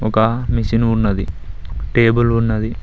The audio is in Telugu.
ఒక మిషిను ఉన్నది టేబుల్ ఉన్నది.